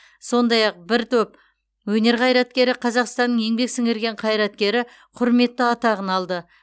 сондай ақ бір төп өнер қайраткері қазақстанның еңбек сіңірген қайраткері құрметті атағын алды